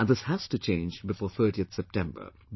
And this has to change before 30th September